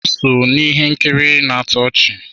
M so na ihe nkiri na-atọ ọchị.